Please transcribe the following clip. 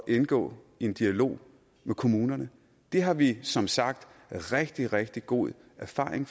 indgå i en dialog med kommunerne det har vi som sagt rigtig rigtig god erfaring